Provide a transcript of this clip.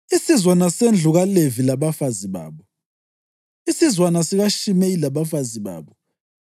isizwana sendlu kaLevi labafazi babo, isizwana sikaShimeyi labafazi babo,